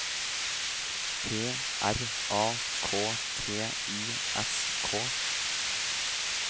P R A K T I S K